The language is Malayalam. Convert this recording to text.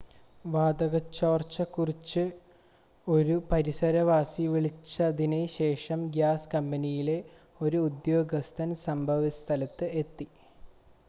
വാതക ചോർച്ചയെ കുറിച്ച് ഒരു പരിസരവാസി വിളിച്ചതിന് ശേഷം ഗ്യാസ് കമ്പനിയിലെ ഒരു ഉദ്യോഗസ്ഥൻ സംഭവസ്ഥലത്ത് എത്തി